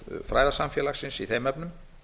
fræðasamfélagsins í þeim efnum